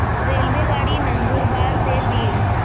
रेल्वेगाडी नंदुरबार ते बीड